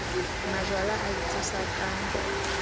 majwala a le tshosa ka